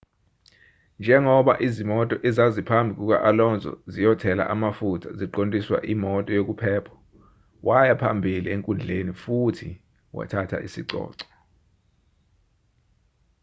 njengoba izimoto ezaziphambi kuka-alonso ziyothela amafutha ziqondiswa imoto yokuphepha waya phambili enkundleni futhi wathatha isicoco